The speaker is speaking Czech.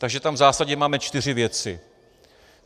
Takže tam v zásadě máme čtyři věci: